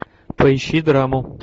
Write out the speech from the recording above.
поищи драму